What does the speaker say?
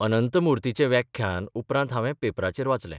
अनंतमुर्तीचें व्याख्यान उपरांत हावें पेपरांचेर वाचलें.